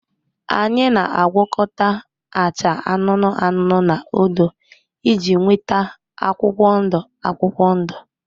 Anyị na-agwakọta acha anụnụ anụnụ na odo iji nweta akwụkwọ ndụ akwụkwọ ndụ